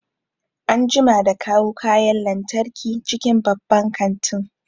An jima da kawo kayan lantarki cikin banban kantin